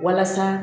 Walasa